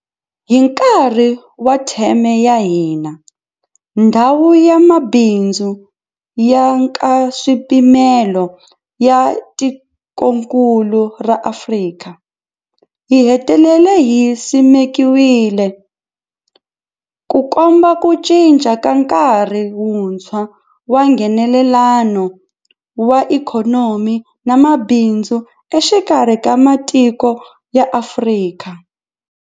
Hi nkarhi wa theme ya hina, Ndhawu ya Mabindzu ya Nkaswipimelo ya Tikokulu ra Afrika, AfCFTA yi hetelele yi simekiwile, Ku komba ku cinca ka nkarhi wuntshwa wa Nghenelelano wa ikhonomi na mabindzu exikarhi ka matiko ya Afrika.